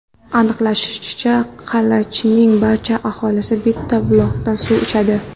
Aniqlanishicha, Qalachining barcha aholisi bitta buloqdan suv ichadi.